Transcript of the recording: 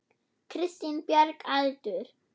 Kristín Björg Aldur?